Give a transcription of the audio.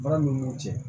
Baara ninnu cɛ